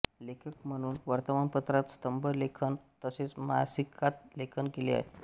लेखक म्हणून वर्तमानपत्रात स्तंभ लेखन तसेच मासिकात लेखन केले आहे